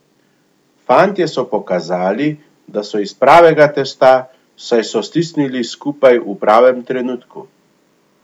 Fantje so pokazali, da so iz pravega testa, saj so stisnili skupaj v pravem trenutku.